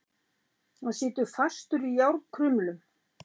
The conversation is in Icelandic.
Hann situr fastur í járnkrumlum.